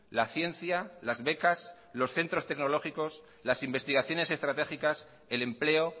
la ciencia las becas los centros tecnológicos las investigaciones estratégicas el empleo